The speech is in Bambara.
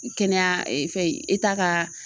Kɛnɛya fɛn in ka